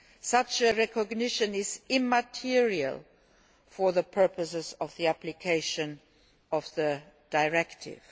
Such recognition is immaterial for the purposes of the application of the directive.